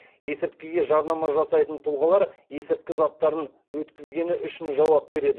есірткіге жарнама жасайтын тұлғалар есірткі заттарын өткізгені үшін жауап береді